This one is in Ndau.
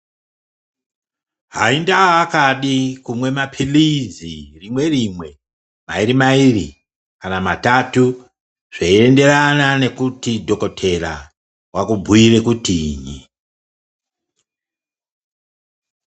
Haindaa akadi kumwe mapilizi, rimwe rimwe mairi mairi kana matatu zveienderana nekuti dhokodheya wakubhuyire kutinyi.